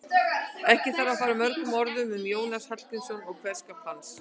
Ekki þarf að fara mörgum orðum um Jónas Hallgrímsson og kveðskap hans.